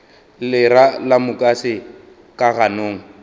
lera la mukase ka ganong